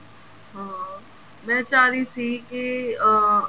ਅਹ ਮੈਂ ਚਾਹ ਰਹੀ ਸੀ ਕੇ ਅਹ